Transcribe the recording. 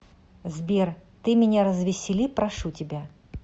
сбер ты меня развесели прошу тебя